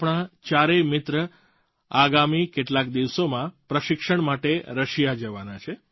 આપણા ચારેય મિત્ર આગામી કેટલાક દિવસોમાં પ્રશિક્ષણ માટે રશિયા જવાના છે